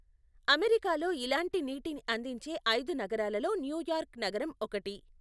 అమెరికాలో ఇలాంటి నీటిని అందించే ఐదు నగరాలలో న్యూయార్క్ నగరం ఒకటి.